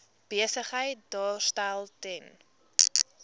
besigheid daarstel ten